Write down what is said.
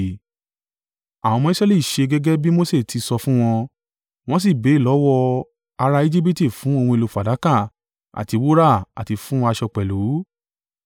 Àwọn ọmọ Israẹli ṣe gẹ́gẹ́ bí Mose ti sọ fún wọn. Wọ́n sì béèrè lọ́wọ́ ará Ejibiti fún ohun èlò fàdákà àti wúrà àti fún aṣọ pẹ̀lú.